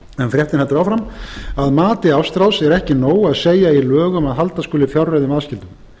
fréttin heldur áfram að mati ástráðs er ekki nóg að segja í lögum að halda skuli fjárreiðum aðskildum